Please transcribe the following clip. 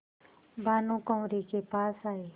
भानुकुँवरि के पास आये